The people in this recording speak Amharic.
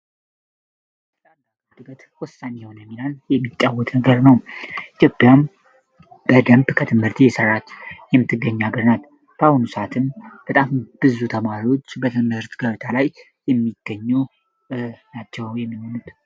ትላንዳ አድነት ወሳኝ የሆነ ሚናን የሚጫወት ነገር ነው። ኢትዮጵያም በደንብ ከትምህርቲ የሠራት የምትገኛ ሐገር ናት። በአሁኑ ሰዓትም በጣም ብዙ ተማሪዎች በትመህርት ገብታ ላይ የሚገኙ ናቸው የምምኑት